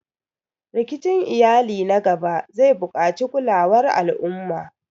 Rikicin iyali na gaba zai buƙaci kulawar al'umma